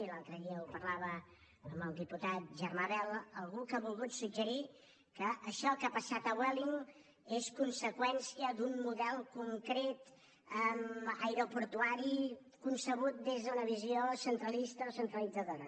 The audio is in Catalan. i l’altre dia ho parlava amb el diputat germà bel algú que ha volgut suggerir que això que ha passat a vueling és conseqüència d’un model concret aeroportuari concebut des d’una visió centralista o centralitzadora